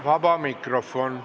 Vaba mikrofon.